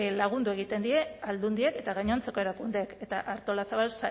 lagundu egiten die aldundiek eta gainontzeko erakundeek eta artolazabal